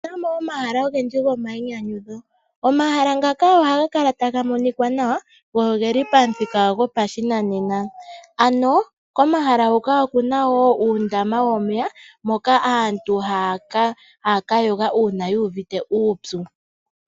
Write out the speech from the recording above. Otuna mo omahala ogendji gomayinyanyudho. Omahala ngaka ohaga kala taga monikwa nawa go ogeli pamuthika gopashinanena, ano komaha hoka okuna woo uundama womeya moka aantu haya ka yoga uuna yuuvite uupyu.